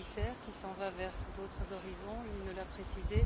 le commissaire, qui s'en va vers d'autres horizons, il nous l'a précisé.